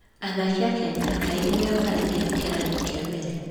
Athaki a Kenya kaingĩ nĩo maraingĩra kĩrathi kĩa mbere.